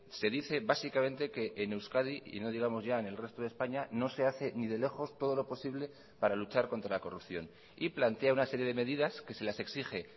se dice básicamente que en euskadi y no digamos ya en el resto de españa no se hace ni de lejos todo lo posible para luchar contra la corrupción y plantea una serie de medidas que se las exige